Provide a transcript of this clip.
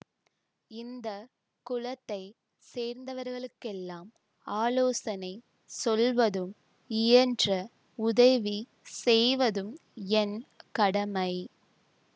இந்த குலத்தைச் சேர்ந்தவர்களுக்கெல்லாம் ஆலோசனை சொல்வதும் இயன்ற உதவி செய்வதும் என் கடமை